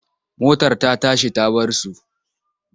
Motar ta tashi ta bar su.